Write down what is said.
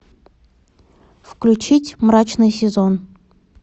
включить мрачный сезон